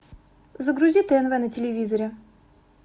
загрузи тнв на телевизоре